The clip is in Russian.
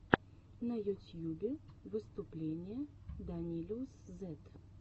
на ютьюбе выступление данилиусзет